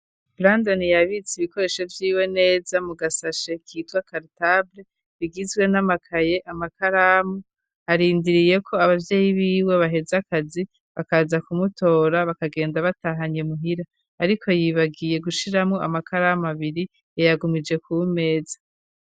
bandon yabitse ibikoresho by'iwe neza mu gasashe k'itwa kartable bigizwe n'amakaye amakaramu arindiriye ko ababyeyi biwe baheze akazi bakaza kumutora bakagenda batahanye muhira ariko yibagiye gushiramo amakaramu abiri yeyagumije ku wi meza.